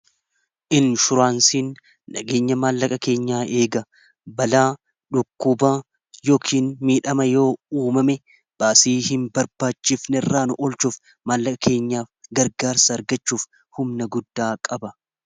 inshuraansiin dhageenya maallaqa keenyaa eega balaa dhukkubaa yookiin miidhama yoo uumame baasii hin barbaachifne irraan olchuuf maallaqa keenyaa gargaarsa argachuuf humna guddaa qaba